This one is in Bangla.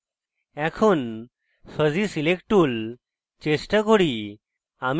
এখন fuzzy select tool চেষ্টা করি